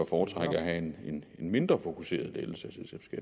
foretrække at have en mindre fokuseret lettelse